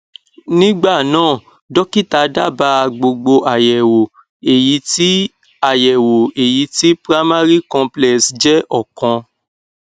nígbà náà dọkítà dábàá gbogbo àyẹwò èyí tí àyẹwò èyí tí primary complex jẹ ọkan